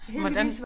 Hvordan